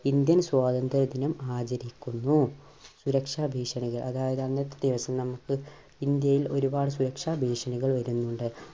Indian സ്വാതന്ത്ര്യ ദിനം ആചരിക്കുന്നു. സുരക്ഷാ ഭീഷണികൾ അതായത് അന്നത്തെ ദിവസം നമുക്ക് ഇന്ത്യയിൽ ഒരുപാട് സുരക്ഷാ ഭീഷണികൾ വരുന്നുണ്ട്.